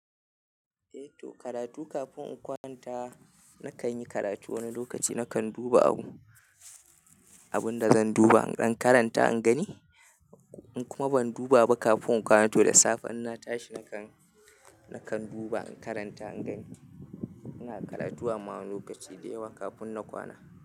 Eh to, karatu kafin in kwanta nakan yi karatu wani lokaci nakan duba abun, abun da zan duba in dan karanta in gani. In kuma ban duba ba kafin in kwanta to da safe in na tashi nakan, nakan duba in karanta in gani. Ina karatu amma wani lokaci da yawa kafin na kwana.